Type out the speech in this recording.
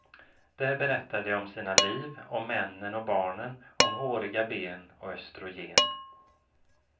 Där berättar de om sina liv, om männen och barnen, om håriga ben och östrogen.